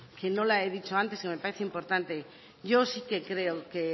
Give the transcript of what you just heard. que no la he dicho antes y me parece importante yo sí que creo que